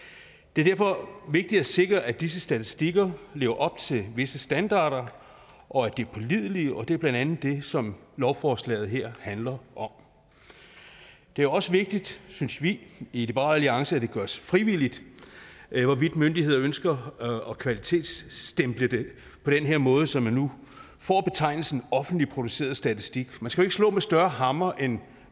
det er derfor vigtigt at sikre at disse statistikker lever op til visse standarder og at de er pålidelige og det er blandt andet det som lovforslaget her handler om det er også vigtigt synes vi i liberal alliance at det gøres frivilligt hvorvidt myndigheder ønsker at kvalitetsstemple det på den her måde så man nu får betegnelsen offentligt produceret statistik man skal jo ikke slå med større hammer end